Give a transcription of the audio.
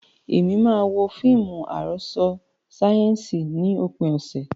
Mo máa wo fíìmù àròsọ sáyẹ́ǹsì ní òpin ọ̀sẹ̀.